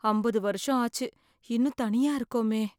அம்பது வருஷம் ஆச்சு இன்னும் தனியா இருக்கோமே.